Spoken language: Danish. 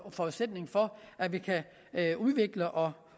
forudsætning for at vi kan udvikle og